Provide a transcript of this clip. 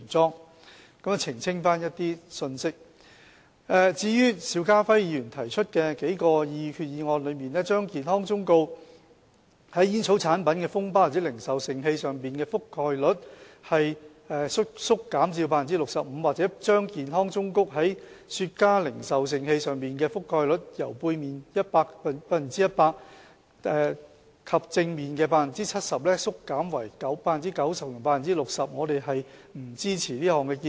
至於邵家輝議員在擬議決議案之中提出的數項修訂，建議把健康忠告在煙草產品的封包或零售盛器上的覆蓋率縮減至 65%， 或把健康忠告在雪茄零售盛器上的覆蓋率由背面 100% 及正面 70% 縮減為 90% 及 60%， 我們並不支持這項建議。